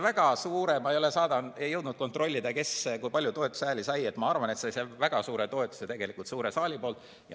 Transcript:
Ma ei ole jõudnud kontrollida, kui palju toetushääli see sai, aga ma arvan, et see sai väga suure toetuse tegelikult suure saali poolt.